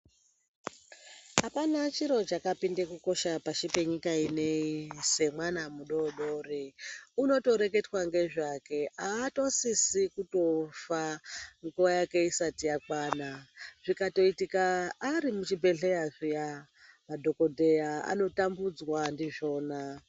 Apana chiro chakapinde kukosha pashi penyika ino yeshe semwana mudodori. Unotoreketwa ngezvake, aatosisi kutofa nguva yake isati yakwana. Zvikatoitika ari muchibhedhlera zviya, madhogodheya anotambudzwa ndizvona.